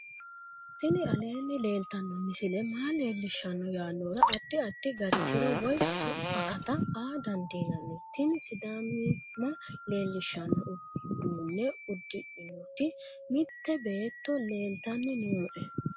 tini aleenni leeltanno misile maa leellishshanno yaannohura addi addi gari tiro woy akata aa dandiinanni tini sidaamimma leellishshanno uduunne uddidhinoti mitte beeetto leelltanni nooe